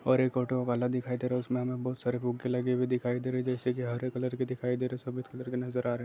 और एक ऑटो वाला दिखाई दे रहा है उसमे हमे बहुत सारे फुग्गे लगे हुए दिखाई दे रहे है जैसे कि हरे कलर के दिखाई दे रहे है सफ़ेद कलर के नजर आ रहे है।